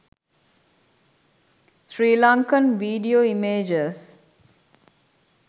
sri lankan video images